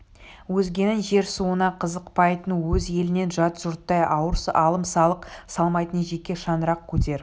өзгенің жер-суына қызықпайтын өз елінен жат жұрттай ауыр алым-салық салмайтын жеке шаңырақ көтер